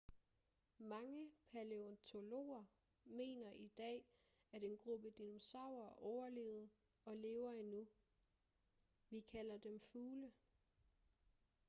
mange palæontologer mener i dag at en gruppe dinosaurer overlevede og lever endnu vi kalder dem fugle